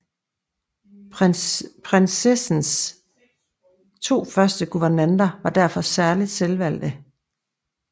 Prinsessens to første guvernanter var derfor særligt velvalgte